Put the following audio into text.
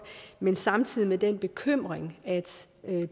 men samtidig vil den bekymring at